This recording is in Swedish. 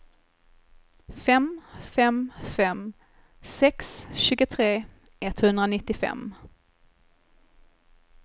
fem fem fem sex tjugotre etthundranittiofem